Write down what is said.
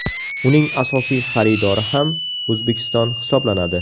Uning asosiy xaridori ham O‘zbekiston hisoblanadi.